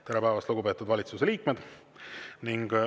Tere päevast, lugupeetud valitsuse liikmed!